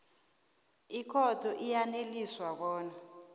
ikhotho iyaneliswa bona